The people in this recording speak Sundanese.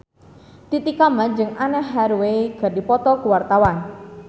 Titi Kamal jeung Anne Hathaway keur dipoto ku wartawan